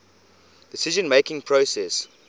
decision making process